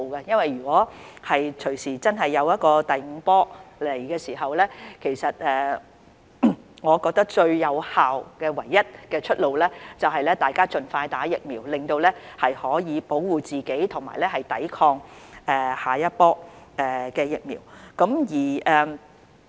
如果真的出現第五波，我覺得最有效及唯一的出路，就是大家盡快接種疫苗，以保護自己及抵抗下一波疫情。